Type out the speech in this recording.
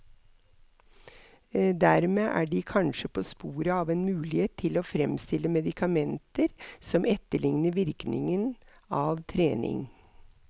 Dermed er de kanskje på sporet av en mulighet til å fremstille medikamenter som etterligner virkningen av trening.